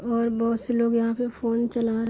और बहुत से लोग यहाँ पे फोन चला --